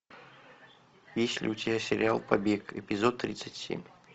есть ли у тебя сериал побег эпизод тридцать семь